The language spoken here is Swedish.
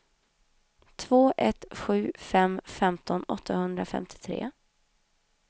två ett sju fem femton åttahundrafemtiotre